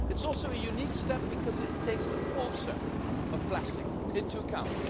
It's also a unique step because it takes the full circle of plastic into account.